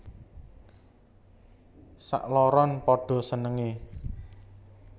Sakloron padha senengé